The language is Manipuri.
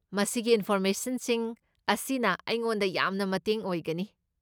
ꯃꯁꯤꯒꯤ ꯏꯟꯐꯣꯔꯃꯦꯁꯟꯁꯤꯡ ꯑꯁꯤꯅ ꯑꯩꯉꯣꯟꯗ ꯌꯥꯝꯅ ꯃꯇꯦꯡ ꯑꯣꯏꯒꯅꯤ꯫